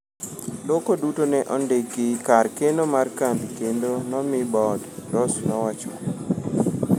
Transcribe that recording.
"loko duto ne ondiki kar keno mar kambi kendo nomi bod," Ross nowacho.